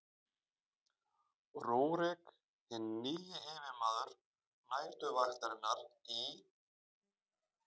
rúrík hinn nýji yfirmaður næturvaktarinnar í